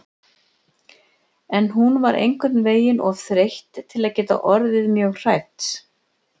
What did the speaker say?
En hún var einhvern veginn of þreytt til að geta orðið mjög hrædd.